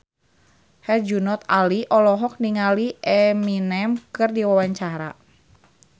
Herjunot Ali olohok ningali Eminem keur diwawancara